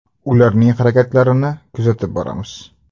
Ularning harakatlarini kuzatib boramiz.